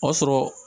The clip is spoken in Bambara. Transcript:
O y'a sɔrɔ